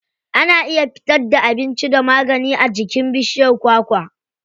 Ana iya fitar da abinci da magani a jikin bishiyar kwakwa.